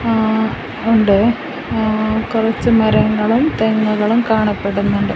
ങാ ഉണ്ട് ങാ കുറച്ചു മരങ്ങളും തെങ്ങുകളും കാണപ്പെടുന്നുണ്ട്.